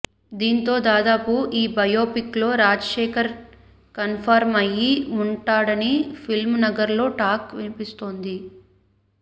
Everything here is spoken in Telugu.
దీంతో దాదాపు ఈ బయోపిక్లో రాజశేఖర్ కన్ఫార్మ్ అయ్యి ఉంటా డని ఫిల్మ్ నగర్లో టాక్ వినిపిస్తోంది